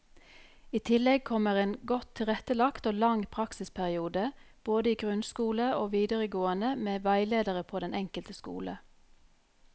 I tillegg kommer en godt tilrettelagt og lang praksisperiode både i grunnskole og videregående med veiledere på den enkelte skole.